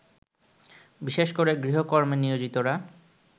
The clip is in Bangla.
বিশেষ করে গৃহকর্মে নিয়োজিতরা